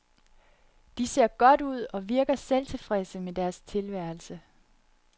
De ser godt ud og virker tilfredse med deres tilværelse.